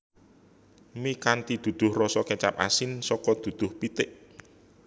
Mi kanthi duduh rasa kecap asin saka duduh pitik